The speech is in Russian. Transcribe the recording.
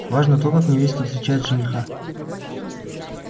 важно то как невеста встречает жениха